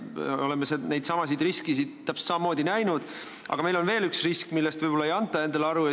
Me oleme neidsamu riskisid täpselt samamoodi näinud, aga on veel üks risk, millest võib-olla ei anta endale aru.